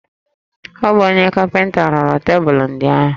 Ọ bụ onye kapịnta rụrụ tebụlụ ndị ahụ